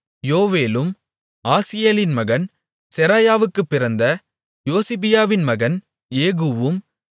யோவேலும் ஆசியேலின் மகன் செராயாவுக்குப் பிறந்த யோசிபியாவின் மகன் ஏகூவும்